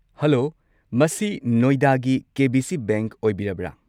Hello , ꯃꯁꯤ ꯅꯣꯏꯗꯥꯒꯤ K. B. C. Bank ꯑꯣꯏꯕꯤꯔꯕ꯭ꯔꯥ?